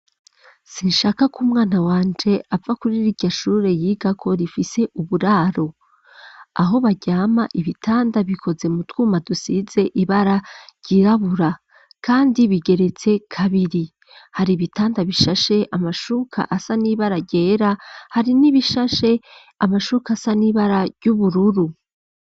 Sinshaka ko umwana wanje apfa kuri riryashure yigako rifise uburaro, aho baryama ibitanda bikoze mu twuma dusize ibara ryirabura, kandi bigeretse kabiri, hari ibitanda bishashe amashuka asa n'ibara ryera hari n'ibishashe amashuka asa n'ibara ry'ubururu.